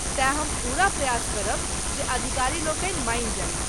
तेँ, हम पूरा प्रयास करब जे अधिकारीलोकनि मानी जाइथ।